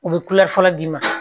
U bɛ fɔlɔ d'i ma